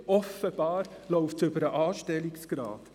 Offenbar läuft dies über den Anstellungsgrad.